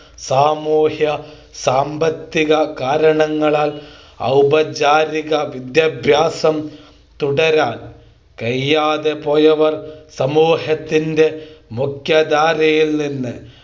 സാമൂഹ്യ സാമ്പത്തിക കാരണങ്ങളാൽ ഔപചാരിക വിദ്യാഭ്യാസം തുടരാൻ കഴിയാതെ പോയവർ സമൂഹത്തിൻ്റെ മുഖ്യധാരയിൽ നിന്ന്